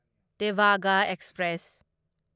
ꯇꯦꯚꯥꯒ express